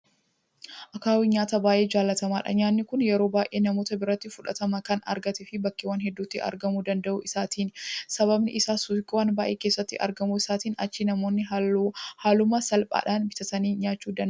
Akaawwiin nyaata baay'ee jaalatamaadha. Nyaanni kun yeroo baay'ee namoota biratti fudhatama kan argateef bakkeewwan hedduutti argamuu danda'uu isaatiini. Sababiin isaas suuqiiwwan baay'ee keessatti argamuu isaatiin achii namoonni haaluma salphaadhaan bitatanii nyaachuu danda'uu isaaniiti.